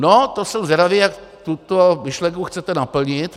No to jsem zvědavý, jak tuto myšlenku chcete naplnit.